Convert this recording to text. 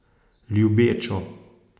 Ljubečo.